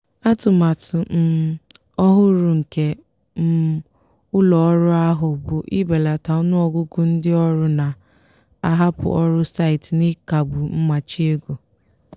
atụmatụ um ọhụrụ nke um ụlọ ọrụ ahụ bụ ibelata ọnụọgụgụ ndị ọrụ na-ahapụ ọrụ site n'ịkagbu mmachi ego.